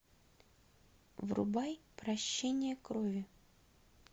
врубай прощение крови